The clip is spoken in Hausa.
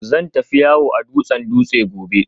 Zan tafi yawo a dutsen Dutse gobe